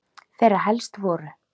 Þeirra helst voru